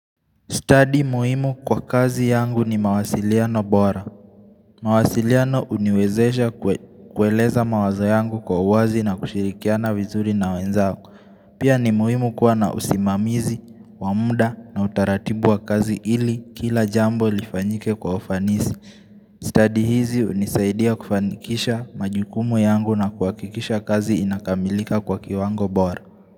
Stadi muhimu kwa kazi yangu ni mawasiliano bora. Mawasiliano uniwezesha kue kueleza mawazo yangu kwa wazi na kushirikiana vizuri na wenzako. Pia ni muhimu kuwa na usimamizi wa muda na utaratibu wa kazi ili kila jambo lifanyike kwa ufanisi. Stadi hizi hunisaidia kufanikisha majukumu yangu na kuhakikisha kazi inakamilika kwa kiwango bora.